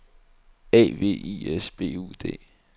A V I S B U D